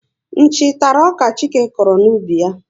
Nchi tara ọka Chike kụrụ n'ubi ya